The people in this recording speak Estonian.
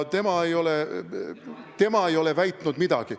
Tema ei ole väitnud midagi.